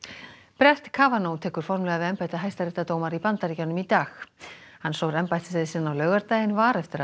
brett tekur formlega við embætti hæstaréttardómara í Bandaríkjunum í dag hann sór embættiseið sinn á laugardaginn var eftir að